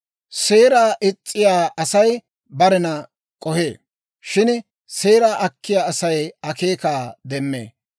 Seeraa is's'iyaa Asay barena k'ohee; shin seeraa akkiyaa Asay akeekaa demmee.